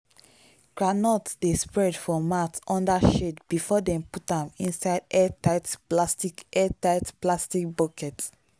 groundnut dey spread for mat under shade before dem put am inside airtight plastic airtight plastic bucket.